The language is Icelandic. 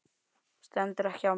Stendur ekki á mér.